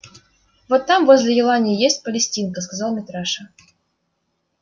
вот там возле елани и есть палестинка сказал митраша